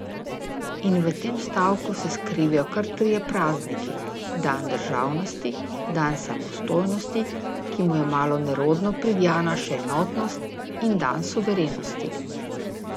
In v tem stavku se skrivajo kar trije prazniki: 'dan državnosti', 'dan samostojnosti,' ki mu je malo nerodno pridjana še enotnost, in 'dan suverenosti'.